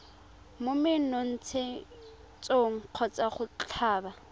mo menontshetsong kgotsa go tlhaba